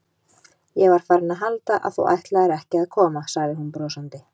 Ég var farin að halda að þú ætlaðir ekki að koma sagði hún brosandi.